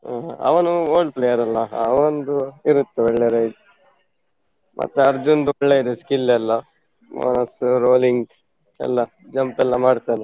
ಹಾ ಹಾ, ಅವನು old player ಅಲ್ಲ ಅವಂದು ಇರುತ್ತೆ ಒಳ್ಳೆ ride ಮತ್ತೆ ಅರ್ಜುನ್ದು ಒಳ್ಳೆ ಇದೆ skill ಎಲ್ಲ ಅಹ್ rolling ಎಲ್ಲ, jump ಎಲ್ಲ ಮಾಡ್ತಾನೆ.